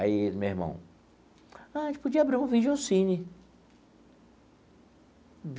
Aí, meu irmão, ah a gente podia abrir um vídeo cine.